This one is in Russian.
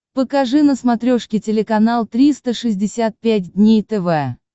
покажи на смотрешке телеканал триста шестьдесят пять дней тв